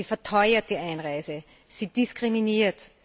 Sie verteuert die Einreise. Sie diskriminiert.